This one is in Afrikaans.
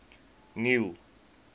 neil